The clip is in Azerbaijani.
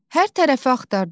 Hər tərəfi axtardıq.